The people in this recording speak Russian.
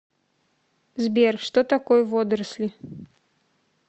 сбер что такое водоросли